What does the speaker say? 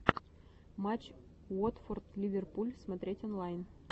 матч уотфорд ливерпуль смотреть онлайн